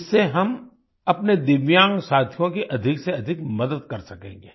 इससे हम अपने दिव्यांग साथियों की अधिक से अधिक मदद कर सकेंगे